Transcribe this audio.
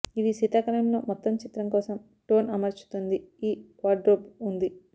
ఇది శీతాకాలంలో మొత్తం చిత్రం కోసం టోన్ అమర్చుతుంది ఈ వార్డ్రోబ్ ఉంది